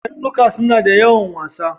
Karnuka suna da yawan wasa.